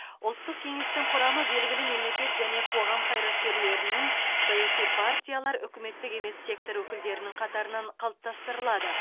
ұлттық кеңестің құрамы белгілі мемлекет және қоғам қайраткерлерінің саяси партиялар үкіметтік емес сектор өкілдерінің қатарынан қалыптастырылады